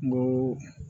N go